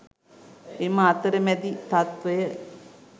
එම අතරමැදි තත්වය